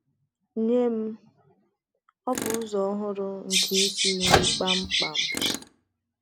Nye m, ọ bụ ụzọ ọhụrụ nke isi nri kpam kpam”